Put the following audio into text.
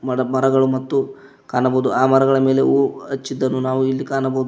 ದೊಡ್ಡ ಮರಗಳು ಮತ್ತು ಕಾಣಬಹುದು ಆ ಮರಗಳ ಮೇಲೆ ಹೂ ಹಚ್ಚಿದನ್ನು ನಾವು ಇಲ್ಲಿ ಕಾಣಬೋದು.